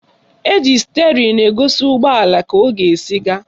Eji stịerịn egosi ụgbọala ka ọ ga-esi aga